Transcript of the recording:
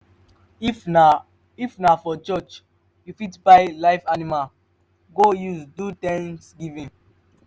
if na if na for church you fit buy live animals go use do thanksgiving